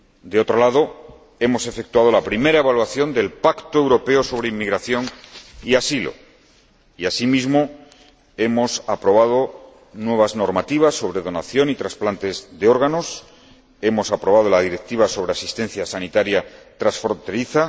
Por otro lado, hemos efectuado la primera evaluación del Pacto Europeo sobre Inmigración y Asilo y, asimismo, hemos aprobado nuevas normativas sobre donación y trasplantes de órganos y hemos aprobado la Directiva sobre asistencia sanitaria transfronteriza.